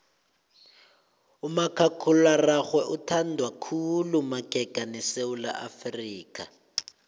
umakhakhulararhwe uthandwa khulu madika esewula afrika